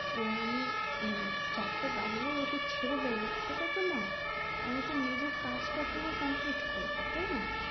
এবার আমি চারটে বাজলেই ওকে ছেড়ে দেবো সেটা তো না আমি তো নিজের কাজটা পুরো complete করবো তাইনা?